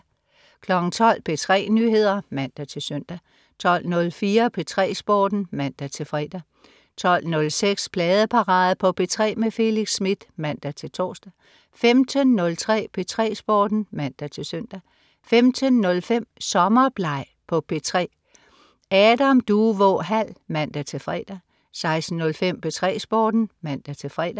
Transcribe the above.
12.00 P3 Nyheder (man-søn) 12.04 P3 Sporten (man-fre) 12.06 Pladeparade på P3 med Felix Smith (man-tors) 15.03 P3 Sporten (man-søn) 15.05 Sommerbleg på P3. Adam Duvå Hall (man-fre) 16.05 P3 Sporten (man-fre)